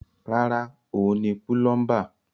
Rárá, òun ni púlọ́ḿbà.